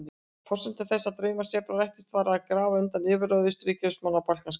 En forsenda þess að draumur Serba rættist var að grafa undan yfirráðum Austurríkismanna á Balkanskaga.